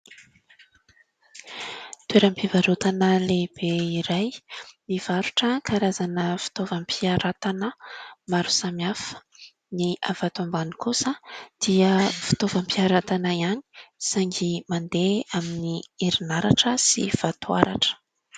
Toeram-pivarotana lehibe iray; mivarotra karazana fitaovam-piaratana maro samihafa; ny avy ato ambany kosa dia fitaovam-piaratana ihany saingy mandeha amin'ny herinaratra sy vatoaratra.